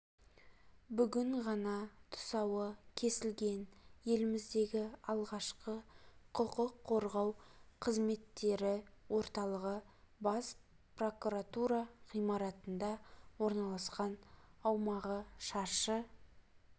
бүгін ғана тұсауы кесілген еліміздегі алғашқы құқық қорғау қызметтері орталығы бас прокуратура ғимаратында орналасқан аумағы шаршы